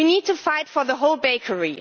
We need to fight for the whole bakery.